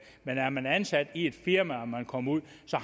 men er man ansat i et firma og kommer ud